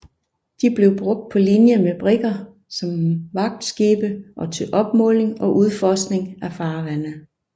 De blev brugt på linje med brigger som vagtskibe og til opmåling og udforskning af farvande